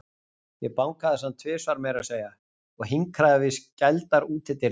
Ég bankaði samt, tvisvar meira að segja, og hinkraði við skældar útidyrnar.